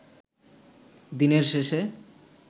দিনের শেষে